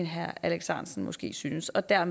herre alex ahrendtsen måske synes og deraf